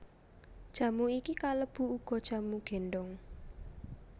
Jamu iki kalebu uga jamu gendong